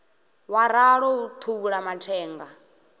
wa ralo u thuvhula mathenga